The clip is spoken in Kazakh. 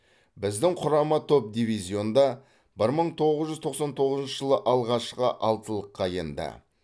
біздің құрама топ дивизионда бір мың тоғыз жүз тоқсан тоғызыншы жылы алғашқы алтылыққа енді